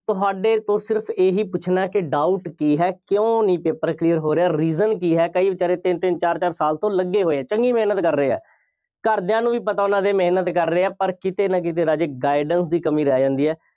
ਤੁਹਾਡੇ ਤੋਂ ਸਿਰਫ ਇਹੀ ਪੁੱਛਣਾ ਕਿ doubt ਕੀ ਹੈ। ਕਿਉਂ ਨਹੀਂ paper clear ਹੋ ਰਿਹਾ। reason ਕੀ ਹੈ। ਕਈ ਵਿਚਾਰੇ ਤਿੰਨ-ਤਿੰਨ, ਚਾਰ-ਚਾਰ ਸਾਲ ਤੋਂ ਲੱਗੇ ਹੋਏ ਹੈ, ਚੰਗੀ ਮਿਹਨਤ ਕਰ ਰਹੇ ਆ। ਘਰਦਿਆਂ ਨੂੰ ਵੀ ਪਤਾ ਉਹਨਾ ਦੇ ਮਿਹਨਤ ਕਰ ਰਹੇ ਆ, ਪਰ ਕਿਤੇ ਨਾ ਕਿਤੇ ਰਾਜੇ guidance ਦੀ ਕਮੀ ਰਹਿ ਜਾਂਦੀ ਆ।